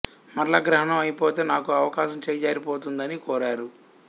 మరల గ్రహణం అయిపోతే నాకు అవకాశం చేజారిపోతుంది అని కోరారు